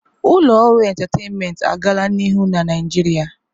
Ụlọ ọrụ entataịnmentị agala n'ihu na Naịjirịa.